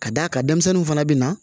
Ka d'a kan denmisɛnninw fana bɛ na